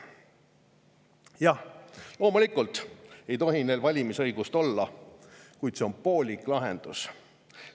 Jah, loomulikult ei tohi neil valimisõigust olla, kuid see on poolik lahendus.